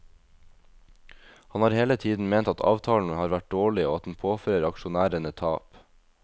Han har hele tiden ment at avtalen har vært dårlig og at den påfører aksjonærene tap.